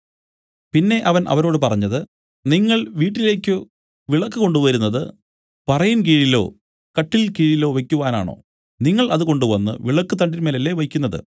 പിന്നെ അവൻ അവരോട് പറഞ്ഞത് നിങ്ങൾ വീട്ടിലേക്ക് വിളക്കു കൊണ്ടുവരുന്നത് പറയിൻ കീഴിലോ കട്ടില്ക്കീഴിലോ വെയ്ക്കുവാനാണോ നിങ്ങൾ അത് കൊണ്ടുവന്ന് വിളക്കുതണ്ടിന്മേലല്ലേ വെയ്ക്കുന്നത്